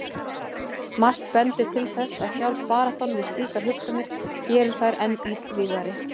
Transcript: Margt bendir til þess að sjálf baráttan við slíkar hugsanir geri þær enn illvígari.